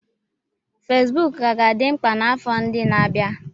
Fesibuku ka ga-adị mkpa n'afọ ndị na-abịa.